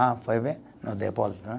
Ah, foi bem no depósito, né?